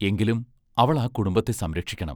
എങ്കിലും അവൾ ആ കുടുംബത്തെ സംരക്ഷിക്കണം.